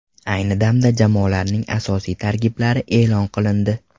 Ayni damda jamoalarning asosiy tarkiblari e’lon qilindi.